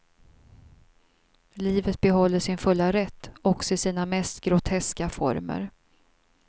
Livet behåller sin fulla rätt också i sina mest groteska former.